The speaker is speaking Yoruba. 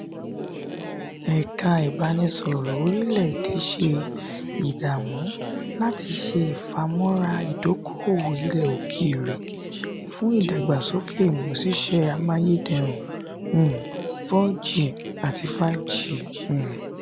eka ibaraėnisọ̀rọ orílè èdè ṣe ìdààmú láti ṣe ìfàmóra ìdóko-òwò ilẹ̀ ókéré fún ìdàgbàsókè ìmúsısẹ́ amáyédẹrùn um four g àti five g um